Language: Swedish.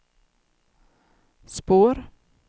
spår